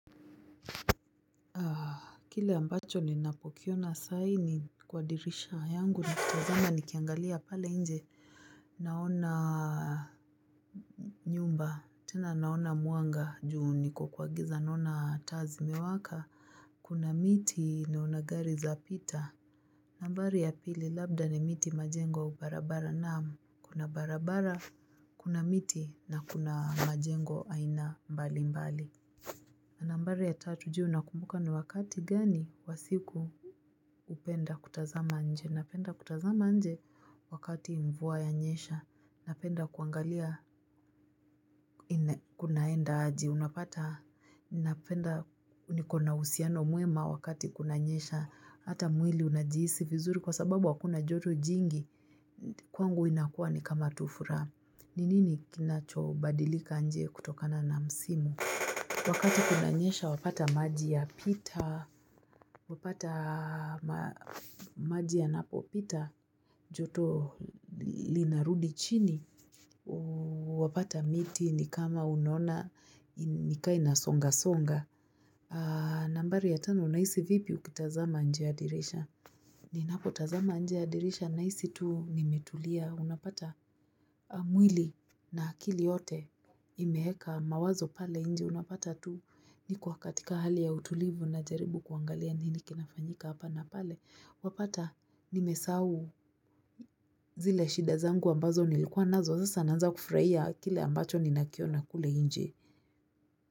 Kile ambacho ni napokiona saa hii ni kwa dirisha yangu ni kutazama ni kiangalia pale nje naona nyumba tena naona mwanga juu niko kwagiza naona taa zi mewaka Kuna miti na onagari za pita nambari ya pili labda ni miti majengo au barabara naam kuna barabara kuna miti na kuna majengo aina mbali mbali nambari ya tatu ju nakumbuka ni wakati gani wa siku upenda kutazama nje. Napenda kutazama nje wakati mvua yanyesha. Napenda kuangalia kunaenda aje. Unapata napenda nikona uhusiano mwema wakati kuna nyesha. Hata mwili unajiisi vizuri kwa sababu akuna joto jingi. Kwangu inakuwa ni kama tufuraha. Ninini kinacho badilika nje kutokana na msimu? Wakati kuna nyesha wapata maji ya pita, wapata maji ya napo pita, joto linarudi chini, wapata miti ni kama unona, ni kaina songa songa. Nambari ya tano, unahisi vipi ukitazama nje ya dirisha? Ni napo tazama nje yadirisha na hisi tu nimetulia. Unapata mwili na akili yote imeeka mawazo pale inje. Unapata tu ni ko katika hali ya utulivu na jaribu kuangalia nini kinafanyika hapa na pale. Wapata nimesahau zile shida zangu ambazo nilikuwa nazo. Sasa ananza kufurahia kile ambacho ni nakiona kule inje.